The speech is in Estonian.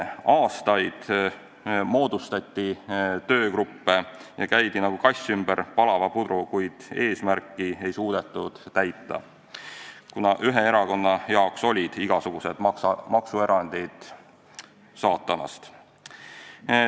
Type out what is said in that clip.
Aastaid moodustati töögruppe ja käidi nagu kass ümber palava pudru, kuid eesmärki ei suudetud täita, kuna ühe erakonna jaoks olid igasugused maksuerandid saatanast.